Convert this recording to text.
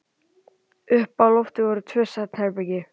Uppi á lofti voru tvö svefnherbergi.